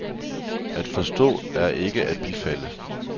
At forstå er ikke at bifalde.